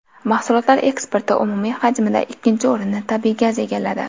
Mahsulotlar eksporti umumiy hajmida ikkinchi o‘rinni tabiiy gaz egalladi.